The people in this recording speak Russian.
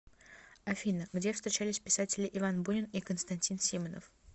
афина где встречались писатели иван бунин и константин симонов